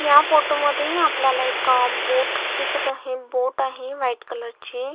या फोटो मध्ये आपल्याला एक अ बोट दिसत आहे बोट आहे व्हाईट कलर ची.